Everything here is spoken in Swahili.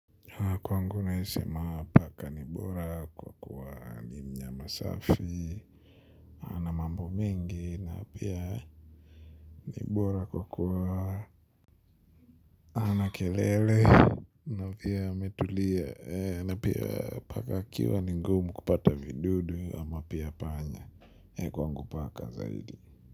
Na kwangu naeza sema paka ni bora kwa kuwa ni mnyama safi, ana mambo mengi na pia ni bora kwa kuwa hana kelele na pia ametulia na pia paka akiwa ni ngumu kupata vidudu ama pia panya. Kwangu paka zaidi.